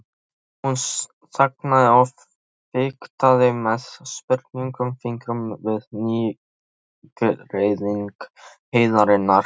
Hún þagnaði og fiktaði með sprungnum fingrum við nýgræðing heiðarinnar.